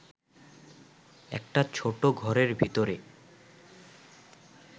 একটা ছোট ঘরের ভিতরে